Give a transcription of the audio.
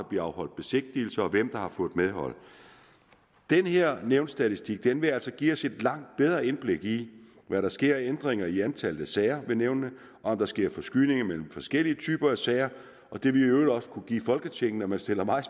bliver afholdt besigtigelse og hvem der har fået medhold den her nævnsstatistik vil altså give os et langt bedre indblik i hvad der sker af ændringer i antallet af sager ved nævnene og om der sker forskydninger mellem forskellige typer af sager og det vil i øvrigt også kunne give folketinget når man stiller mig